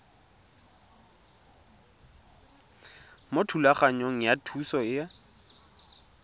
mo thulaganyong ya thuso y